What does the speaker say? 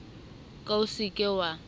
ka o se ke wa